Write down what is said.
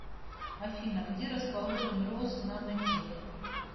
афина где расположен роснанотех